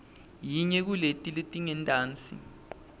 yinye kuleti letingentasi